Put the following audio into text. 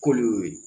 K'olu y'o ye